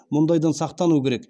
мұндайдан сақтану керек